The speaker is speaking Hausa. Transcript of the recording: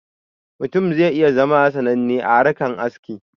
Mutum zai iya zama sananne a harkan aski